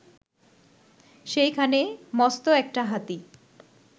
সেইখানে মস্ত একটা হাতি